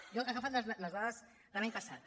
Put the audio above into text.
jo he agafat les dades de l’any passat